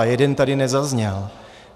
A jeden tady nezazněl.